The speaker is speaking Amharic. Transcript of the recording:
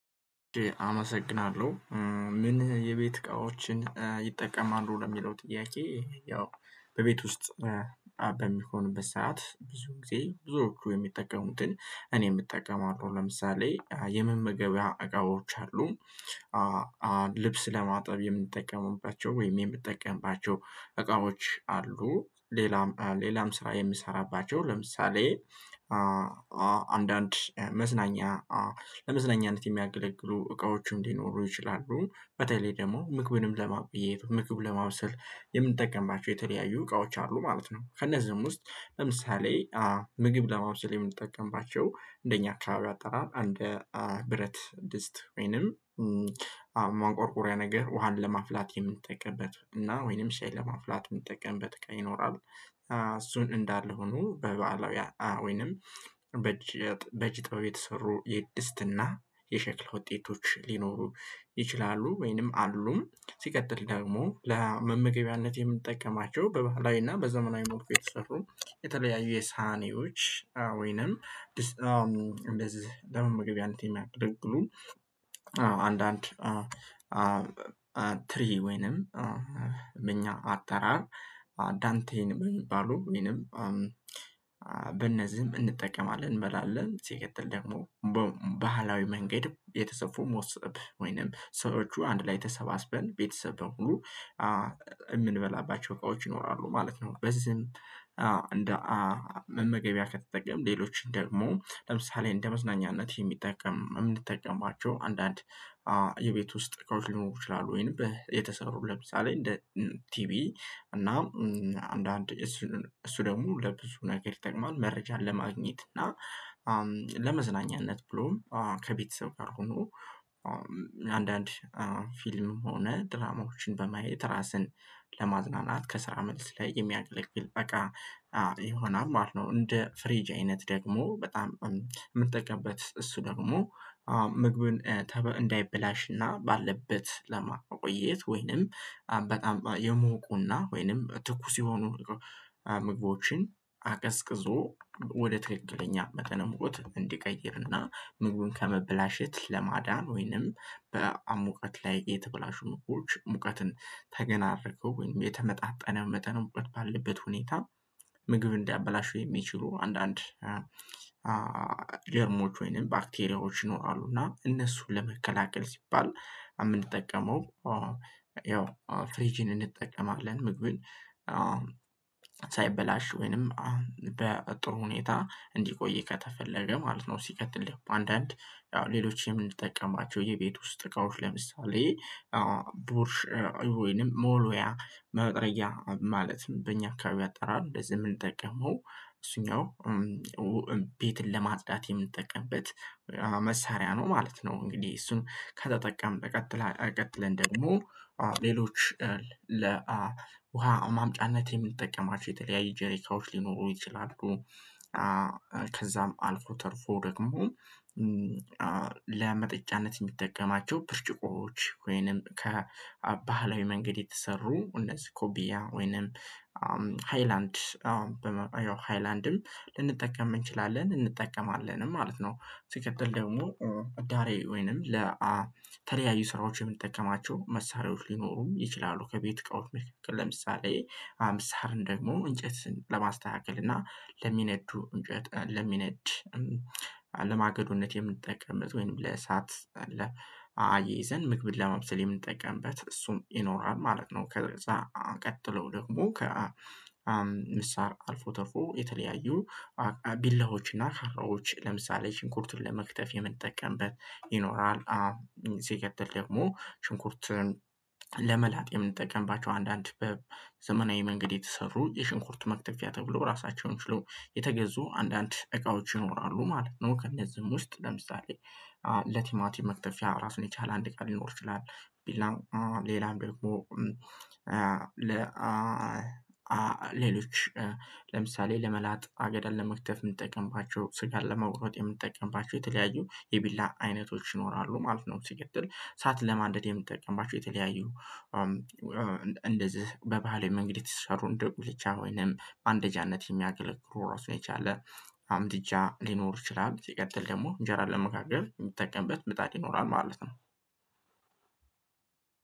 አመሰግናለሁ። ምን የቤት እቃዎችን ይጠቀማሉ ለሚለው ጥያቄ? ያው በቤት ውስጥ በሚሆንበት ሰዓት ብዙ ጊዜ ብዙዎቹ የሚጠቀሙትን እኔ እጠቀማለው ለምሳሌ የመመገቢያ እቃዎች አሉ። ልብስ ለማጠብ የምንጠቀመውባቸው ወይም የምንጠቀምባቸው እቃዎች አሉ ሌላም ሌላም ስራ የምሰራባቸው ለምሳሌ አንዳንድ መዝናኛ ለመዝናኛነት የሚያገለግሉ እቃዎቹም ሊኖሩ ይችላሉ በተለይ ደግሞ ምግብንም ለማቆየት ለማብሰል የምንጠቀምባቸው የተለያዩ እቃዎች አሉ። ማለት ነው። ከእነዚህም ውስጥ ለምሳሌ ምግብ ለማብሰል የምንጠቀምባቸው እንደኛ አካባቢ አጠራር እንድ ብረት ድስት ወይንም ማንቆርቆሪያ ነገር ውሃን ለማፍላት የምንጠቀምበት እና ወይንም ሻይ ለማፍላት የምንጠቀምበት እቃ ይኖራል። እሱን እንዳለ ሆኖ በበዓላዊ ወይንም በእጀ በእጅ ጥበብ የተሰሩ የድስትና የሸክለ ውጤቶች ሊኖሩ ይችላሉ ወይንም አሉ። ሲቀጥል ደግሞ ለመመገቢያነት የምንጠቀማቸው በባህላዊና በዘመናዊ ሙልኩ የተሰሩ የተለያዩ የሳህኒዎች ወይንም ድስት እንደዚህ ለመመገቢያነት የሚያገለግሉ አንዳንድ ትሪ ወይንም እኛ አጠራር አዳንቴን በሚባሉ ወይንም በእነዚህም እንጠቀማለን እንበላለን ሲቀጥል ደግሞ ባህላዊ መንገድ የተሰፉ መሶብ ወይንም ሰዎች አንድ ላይ ተሰባስበን ቤተሰብ በሙሉ የምንበላባቸው እቃዎች ይኖራሉ ማለት ነው። በዚህም እንደ መመገቢያ ከተጠቀምን ሌሎችን ደግሞ ለምሳሌ እንደ መዝናኛነት የምንጠቀምባቸው አንዳንድ የቤት ውስጥ እቃዎች ሊኖሩ ይችላሉ። ወይንም የተሰሩ ለምሳሌ እንደ ቲቪ እና አንዳንድ እሱ እሱ ደግሞ ለብዙ ነገር ይጠቅማል መረጃን ለማግኘት እና ለመዝናኛነት ብሎም ከቤተሰብ ጋር ሆኖ አንዳንድ ፊልም ሆነ ድራማዎችን በማየት ራስን ለማዝናናት ከስራ መልስ ላይ የሚያገለግል እቃ ይሆናል ማለት ነው። እንደ ፍሪጅ አይነት ደግሞ በጣም የምንጠቀምበት እሱ ደግሞ ምግብን እንዳይበላሽና ባለበት ለማቆየት ወይንም በጣም የሞቁና ወይንም ትኩስ የሆኑ ምግቦችን አቀዝቅዞ ወደ ትክክለኛ መጠነ ሙቀት እንዲቀይርና ምግቡን ከመብላሸት ለማዳን ወይንም በሙቀት ላይ የተብላሹ ምግቦች ሙቀትን ተገነ አድርገው ወይንም የተመጣጠነ መጠን ሙቀት ባለበት ሁኔታ ምግብ እንዲያበላሹ የሚችሉ አንዳንድ ጀርሞች ወይንም ባክቴሪያዎች ይኖራሉና እነሱን ለመከላከል ሲባል የምንጠቀመው ያው ፍሪጅን እንጠቀማለን። ምግብን ሳይበላሽ ወይንም በጥሩ ሁኔታ እንዲቆይ ከተፈለገ ማለት ነው። ሲቀጥል አንዳንድ ያው ሌሎችም የምንጠቀማቸው የቤት ውስጥ እቃዎች ለምሳሌ ቡርሽ ወይንም መወልወያ መጥረጊያ ማለት በእኛ አካባቢ አጠራል እንደዚህ የምንጠቀመው እሱኛው ቤትን ለማጽዳት የምንጠቀምበት መሳሪያ ነው ማለት ነው። እንግዲህ እሱን ከተጠቀምን በቀጥታ ቀጥለን ደግሞ ሌሎች ለውሃ ማምጫነት የምንጠቀማቸው የተለያዩ ጄሪካዎች ሊኖሩ ይችላሉ። ከዛም አልፎ ተርፎ ደግሞ ለመጠጫነት የምንጠቀማቸው ብርጭቆዎች ወይንም ከባህላዊ መንገድ የተሰሩ እነዚህ ኩባያ ወይንም ሃይላንድ ሃይላንድም ልንጠቀም እንችላለን እንጠቀማለን ማለት ነው። ሲቀጥል ደግሞ እዳሬ ወይንም ለተለያዩ ስራዎች የምንጠቀማቸው መሳሪያዎች ሊኖሩም ይችላሉ። ከቤት እቃዎች መካከል ለምሳሌ አምሳርን ደግሞ እንጨትን ለማስተካከል እና ለሚነዱ እንጨት ለሚነድ ለማገዶነት የምንጠቀምበት ወይንም ለእሳት አያይዘን ምግብን ለማብሰል የምንጠቀምበት እሱም ይኖራል ማለት ነው። ከዛ ቀጥለው ደግሞ ምሳር አልፎ ተርፎ የተለያዩ ቢላዎችና ካራዎች ለምሳሌ ሽንኩርቱን ለመክተፍ የምንጠቀምበት ይኖራል። አዎ ሲቀጥል ደግሞ ሽንኩርትን ለመላጥ የምንጠቀምባቸው አንዳንድ በዘመናዊ መንገድ የተሰሩ የሽንኩርት መክተፊያ ተብሎ ራሳቸውን ችሎ የተገዙ አንዳንድ እቃዎች ይኖራሉ ማለት ነው። ከእነዚህም ውስጥ ለምሳሌ ለቲማቲም መክተፊያ ራሱን የቻለ አንድ እቃ ሊኖር ይችላል። ቢላም ሌላም ደግሞ ሌሎች ለምሳሌ ለመላጥ አገዳን ለመክተፍ የምንጠቀምባቸው ስጋን ለመውረጥ የምንጠቀምባቸው የተለያዩ የቢላ አይነቶች ይኖራሉ ማለት ነው። ሲቀጥል እሳት ለማደድ የምትጠቀምባቸው የተለያዩ እንደዚህ በባህላዊ መንገድ የተሰሩ እንደ ጉልቻ ወይንም ማንደጃነት የሚያገለግሉ ራሱን የቻለ አምድጃ ሊኖር ይችላል። ሲትቀጥል ደግሞ እንጀራ ለመካከል የሚጠቀምበት ምጣድ ይኖራል ማለት ነው።